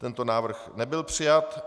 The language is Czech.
Tento návrh nebyl přijat.